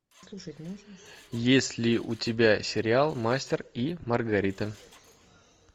есть ли у тебя сериал мастер и маргарита